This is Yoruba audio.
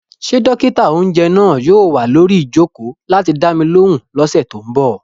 Ṣé dókítà-oúnjẹ náà yóò wà lórí ìjòkó láti dá mi lóhùn ní ọ̀sẹ̀ tó n bọ̀?